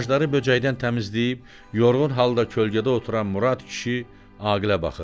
Ağacları böcəkdən təmizləyib yorğun halda kölgədə oturan Murad kişi Aqilə baxırdı.